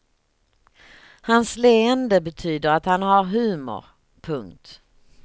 Hans leende betyder att han har humor. punkt